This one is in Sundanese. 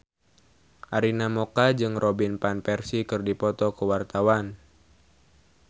Arina Mocca jeung Robin Van Persie keur dipoto ku wartawan